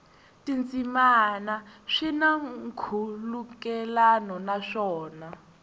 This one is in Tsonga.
tindzimana swi na nkhulukelano naswona